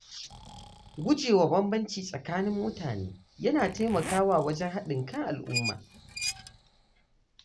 Gujewa nuna bambanci tsakanin mutane yana taimakawa wajen haɗin kan al’umma.